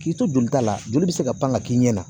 K'i to jolita la joli bɛ se ka pan ka k'i ɲɛ na